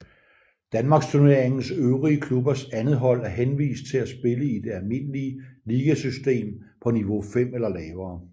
Danmarksturneringens øvrige klubbers andethold er henvist til at spille i det almindelige ligasystem på niveau 5 eller lavere